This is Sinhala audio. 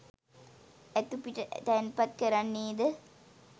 ඇතු පිට තැන්පත් කරන්නේද